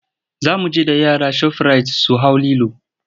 Za mu je da yara shofirayit su hau lilo.